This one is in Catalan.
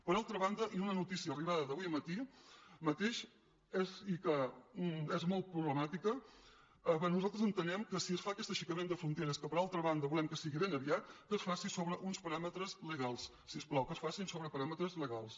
per altra banda una notícia arribada d’avui mateix i que és molt problemàtica bé nosaltres entenem que si es fa aquest aixecament de fronteres que per al·tra banda volem que sigui ben aviat que es faci sobre uns paràmetres legals si us plau que es facin sobre pa·ràmetres legals